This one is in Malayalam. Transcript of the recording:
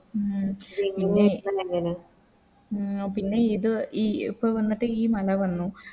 ഉം പിന്നെ ഇത് ഈ ഇപ്പൊ വന്നിട്ട് ഈ മല വന്നു